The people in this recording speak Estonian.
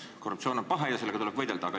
Korruptsioon on paha ja sellega tuleb võidelda.